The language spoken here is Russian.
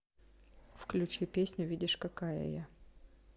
включи песню видишь какая я